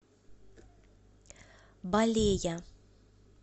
балея